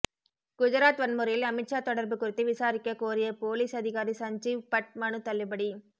குஜராத் வன்முறையில் அமித்ஷா தொடர்பு குறித்து விசாரிக்க கோரிய போலீஸ் அதிகாரி சஞ்சீவ்பட் மனு தள்ளுபடி